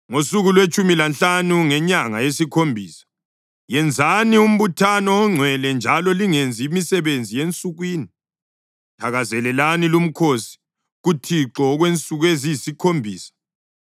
“ ‘Ngosuku lwetshumi lanhlanu ngenyanga yesikhombisa, yenzani umbuthano ongcwele njalo lingenzi imisebenzi yensukwini. Thakazelelani lumkhosi kuThixo okwensuku eziyisikhombisa.